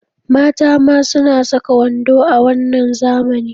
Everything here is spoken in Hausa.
Mata ma suna saka wando a wannan zamani.